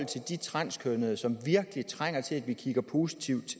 til de transkønnede som virkelig trænger til at vi kigger positivt